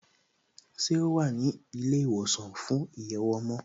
Ṣé o wà ní ilé ìwòsàn fún ìyẹ̀wò ọmọ?